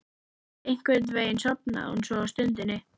Einhvern veginn sofnaði hún svo á stundinni.